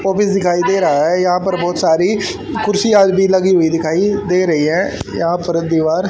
office दिखाई दे रहा है यहां पर बहोत सारी कुर्सियां भी लगी हुई दिखाई दे रही है यहां पर दीवार--